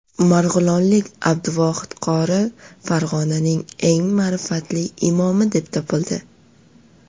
Marg‘ilonlik Abduvohid qori Farg‘onaning eng ma’rifatli imomi deb topildi.